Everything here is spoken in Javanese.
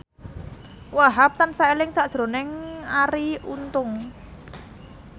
Wahhab tansah eling sakjroning Arie Untung